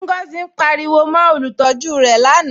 Ngọzi ǹ pàríwò mó olùtọ̀jú rẹ̀ lánà